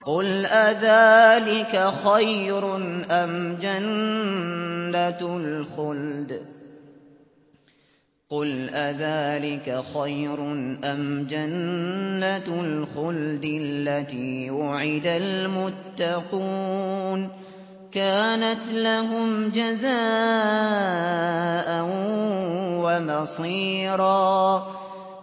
قُلْ أَذَٰلِكَ خَيْرٌ أَمْ جَنَّةُ الْخُلْدِ الَّتِي وُعِدَ الْمُتَّقُونَ ۚ كَانَتْ لَهُمْ جَزَاءً وَمَصِيرًا